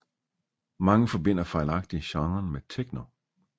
Mange forbinder fejlagtigt genren med techno